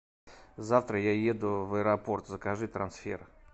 завтра я еду в аэропорт закажи трансфер